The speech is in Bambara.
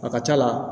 A ka ca la